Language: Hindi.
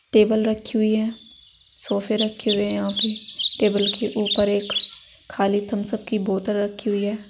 टेबल रखी हुई है। सोफे रखे हुए हैं यहां पे। टेबल के ऊपर एक खाली थम्सअप की बोतल रखी हुई है।